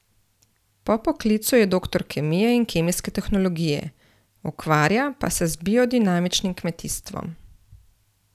Po poklicu je doktor kemije in kemijske tehnologije, ukvarja pa se z biodinamičnim kmetijstvom.